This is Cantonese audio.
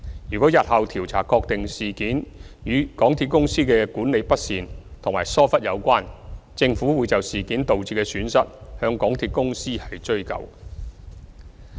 如果日後調查確定事件與港鐵公司的管理不善及疏忽有關，政府會就事件導致的損失向港鐵公司追究。